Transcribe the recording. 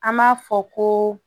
An m'a fɔ ko